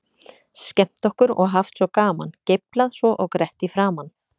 Skemmt okkur og haft svo gaman, geiflað svo og grett í framan.